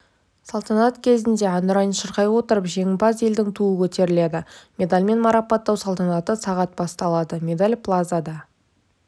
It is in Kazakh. салтанат кезінде әнұранын шырқай отырып жеңімпаз елдің туы көтеріледі медальмен марапаттау салтанаты сағат басталады медал плазада